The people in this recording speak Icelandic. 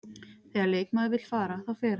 Þegar leikmaður vill fara, þá fer hann.